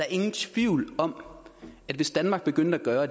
ingen tvivl om at hvis danmark begyndte at gøre